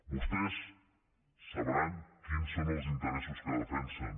vostès deuen saber quins són els interessos que defensen